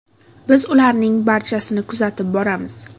Biz ularning barchasini kuzatib boramiz.